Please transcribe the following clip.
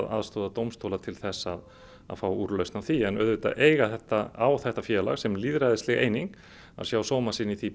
aðstoðar dómstóla til að fá úrlausnar á því en auðvitað á þetta á þetta félag sem lýðræðisleg eining að sjá sóma sinn í því